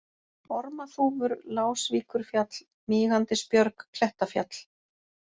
Ormaþúfur, Lásvíkurfjall, Mígandisbjörg, Klettafjall